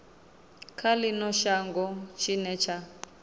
kha ino shango tshine tsha